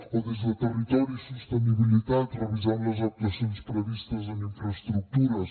o des de territori i sostenibilitat revisar les actuacions previstes en infraestructures